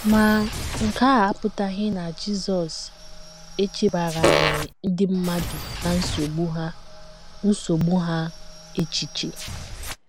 Ma, nke a apụtaghị na Jizọs echebaraghị ndị mmadụ na nsogbu ha nsogbu ha echiche.